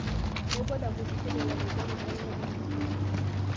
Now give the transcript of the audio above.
Nĩngwenda gũthikĩrĩria rwĩmbo rũrĩa nyendete mũno.